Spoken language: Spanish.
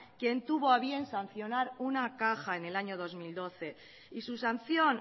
quien tuvo a bien sancionar una caja en el año dos mil doce y su sanción